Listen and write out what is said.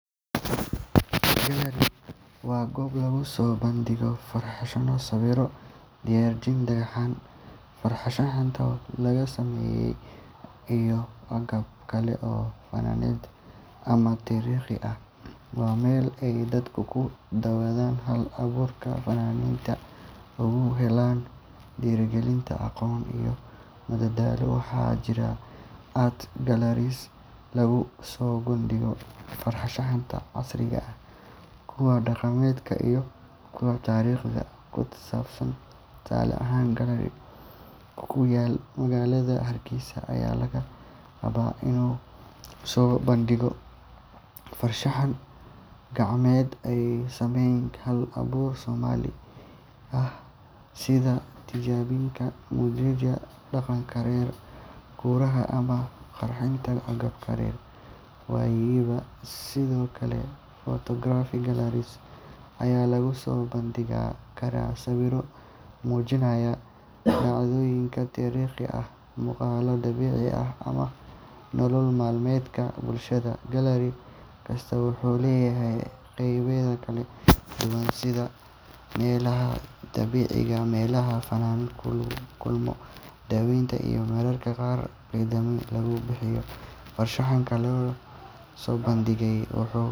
Gallery waa goob lagu soo bandhigo farshaxanno, sawirro, rinjiyeyn, dhagaxaan farshaxan laga sameeyay, iyo agab kale oo faneed ama taariikhi ah. Waa meel ay dadku ku daawadaan hal-abuurka fannaaniinta, ugana helaan dhiirigelin, aqoon iyo madadaalo. Waxaa jira art galleries lagu soo bandhigo farshaxanka casriga ah, kuwa dhaqameed, iyo kuwa taariikhda ku saabsan. Tusaale ahaan, gallery ku ku yaalla magaalada Hargeysa ayaa laga yaabaa inuu soo bandhigo farshaxan gacmeed ay sameeyeen hal-abuur Soomaali ah, sida rinjiyeyn muujinaysa dhaqanka reer guuraaga ama qurxinta agabka reer miyiga. Sidoo kale, photography galleries ayaa lagu soo bandhigi karaa sawirro muujinaya dhacdooyin taariikhi ah, muuqaal dabiici ah ama nolol maalmeedka bulshada. Gallery kasta wuxuu leeyahay qaybaha kala duwan sida meelaha bandhigga, meelaha fannaanku kula kulmo dadweynaha, iyo mararka qaar dukaamo lagu iibiyo farshaxanka la soo bandhigay. Waxaa kaloo gallery loo isticmaalaa dhacdooyin gaar ah sida furitaanka bandhig cusub, kulan suugaaneed, ama casharro faneed oo dadweynuhu ka qayb qaadan karaan. Bandhigyada noocan ah waxay sare u qaadaan wacyiga bulshada ee ku saabsan qiimaha farshaxanka iyo